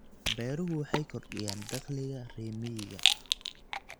Beeruhu waxay kordhiyaan dakhliga reer miyiga.